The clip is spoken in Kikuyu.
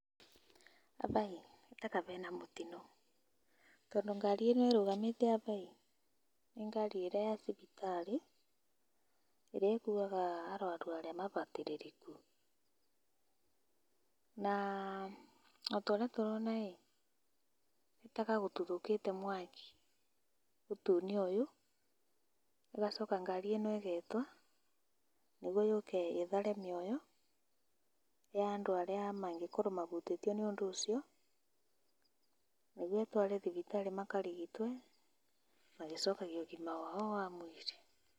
Aba ĩĩ nĩ ta ka bena mũtinũ tondũ ngari ĩno ĩrũgamĩte aba ĩĩ nĩ ngari ĩrĩa ya cibitarĩ ĩrĩa ĩkuaga arwaru arĩa mabatĩrĩrĩku na ota ũrĩa tũrona ĩĩ nĩ ta ka gũtuthũkĩte mwaki ũtune ũyũ gũgacoka ngari ĩno ĩgetwa nĩguo yũke ithare mĩoyo ya andũ arĩa mangĩkorwo mabutĩtio nĩ ũndũ ũcio nĩguo itware thibitarĩ makarigitwo magĩcokagia ũgima wao wa mwĩrĩ.